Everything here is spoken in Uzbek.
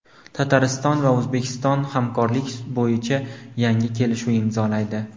Tatariston va O‘zbekiston hamkorlik bo‘yicha yangi kelishuv imzolaydi.